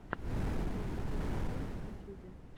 прикол катерины бэй в ютюбе